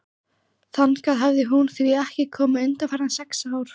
Þangað hafði hún því ekki komið undanfarin sex ár.